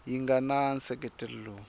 yi nga na nseketelo lowu